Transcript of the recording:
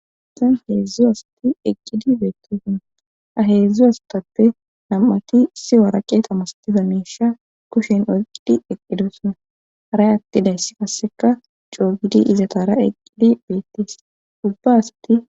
Esen heedzdzu asti eqqidi beettosanna aheedzdzu astappe nam7ati si waraqe tamastifa meesha kushen oyqqidi eqqidosonna haray attidayss kasseka coogidi izatara eqqidi beettees ubba asti..